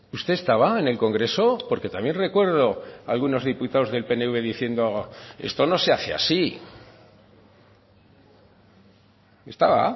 usted estaba en el congreso porque también recuerdo algunos diputados del pnv diciendo esto no se hace así estaba